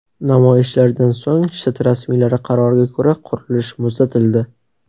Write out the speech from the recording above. Namoyishlardan so‘ng shtat rasmiylari qaroriga ko‘ra qurilish muzlatildi.